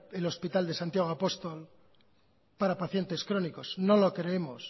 el hospital de santiago apostol para pacientes crónicos no lo creemos